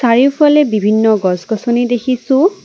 চাৰিওফালে বিভিন্ন গছ গছনি দেখিছোঁ।